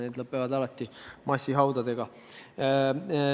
See lõpeb alati massihaudadega.